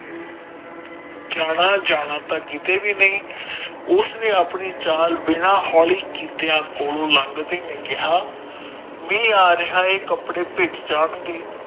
ਜਾਣਾ ਜਾਣਾ ਤਾ ਕੀਤੇ ਵਿਉ ਨਹੀਂ ਉਸ ਨੇ ਆਪਣੀ ਚੱਲ ਬਿਨਾ ਹੋਲੀ ਕੀਤੇ ਕਿਹਾ ਮਹਿ ਆ ਰਿਹਾ ਹ ਕੱਪੜੇ ਪਿਜ ਜਾਣਗੇ